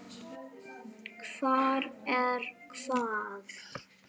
Hvar er hvað?